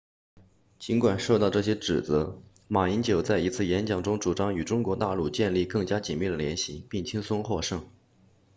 尽管受到这些指责马英九在一次演讲中主张与中国大陆建立更加紧密的联系并轻松获胜